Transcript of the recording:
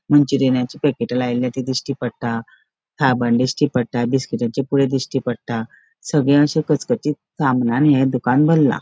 मँचुरियानाची पॅकेट लायलेल्या ती दिश्टी पट्टा साबण दिसटी पोट्टा बिस्किटाचे पूरा दिश्टी पट्टा सगळे अशे कचकचीत सामानानी ये दुकान भल्ला.